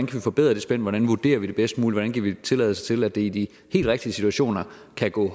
kan forbedre det spænd hvordan vi vurderer det bedst muligt kan give tilladelse til at det i de helt rigtige situationer kan gå